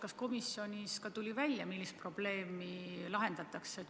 Kas komisjonis tuli välja, millist probleemi lahendatakse?